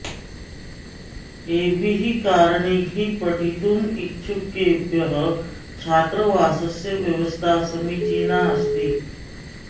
एभिः कारणैः पठितुम् इच्छुकेभ्यः छात्रवासस्य व्यवस्था समीचीना अस्ति